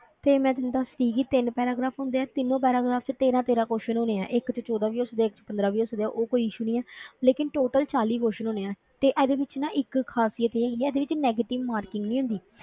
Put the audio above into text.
ਤੇ ਮੈਂ ਤੈਨੂੰ ਦੱਸਦੀ ਸੀਗੀ ਤਿੰਨ paragraph ਹੁੰਦੇ ਆ, ਤਿੰਨੋ paragraph ਵਿੱਚ ਤੇਰਾਂ ਤੇਰਾਂ question ਹੋਣੇ ਹੈ, ਇੱਕ ਵਿੱਚ ਚੋਦਾਂ ਵੀ ਹੋ ਸਕਦੇ ਹੈ, ਇੱਕ ਵਿੱਚ ਪੰਦਰਾਂ ਵੀ ਹੋ ਸਕਦੇ ਹੈ, ਉਹ ਕੋਈ issue ਨਹੀਂ ਹੈ ਲੇਕਿੰਨ total ਚਾਲੀ question ਹੋਣੇ ਹੈ, ਤੇ ਇਹਦੇ ਵਿੱਚ ਨਾ ਇੱਕ ਖ਼ਾਸਿਅਤ ਇਹ ਹੈਗੀ ਹੈ ਇਹਦੇ ਵਿੱਚ negative marking ਨਹੀਂ ਹੁੰਦੀ।